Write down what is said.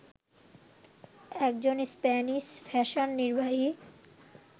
একজন Spanish fashion নির্বাহী